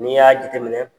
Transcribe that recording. N'i y'a jateminɛ